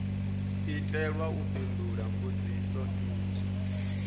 itelwa u fhindula mbudziso nnzhi